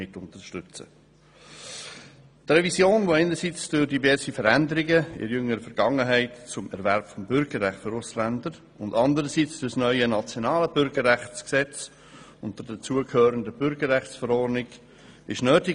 Die Revision wurde einerseits durch diverse Veränderungen in jüngerer Vergangenheit zum Erwerb des Bürgerrechts für Ausländer und anderseits durch das nationale Bürgerrechtsgesetz sowie der dazugehörenden Bürgerrechtsverordnung nötig.